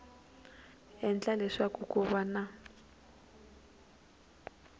endle leswaku ku va na